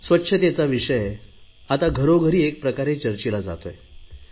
स्वच्छतेचा विषय आता घरोघरी एक प्रकारे चर्चिला जातोय